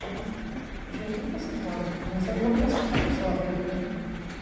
né. Eu tinha trinta e cinco anos quando ele nasceu e eu fui a segunda pessoa a vê-lo, né.